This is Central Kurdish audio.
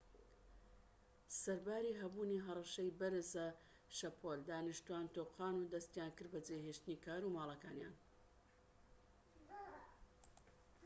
سەرباری هەبوونی هەڕەشەی بەرزە شەپۆل دانیشتوان تۆقان و دەستیان کرد بە جێهێشتنی کار و ماڵەکانیان